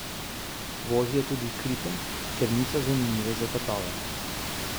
Vozijo tudi kripe, ker niso zanimive za tatove.